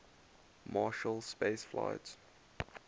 marshall space flight